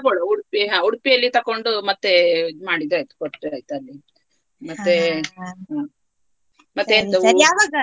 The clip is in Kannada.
ತಗೋಳ್ವ Udupi ಹಾ Udupi ಯಲ್ಲಿ ತೆಕೊಂಡು ಮತ್ತೆ ಇದು ಮಾಡಿದ್ರೆ ಆಯ್ತು ಮತ್ತೆ ಮತ್ತೆ .